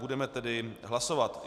Budeme tedy hlasovat.